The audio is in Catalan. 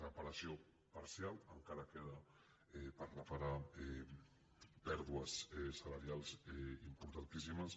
repara·ció parcial encara queden per reparar pèrdues salari·als importantíssimes